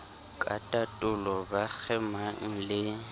ka tatolo ba kgemang le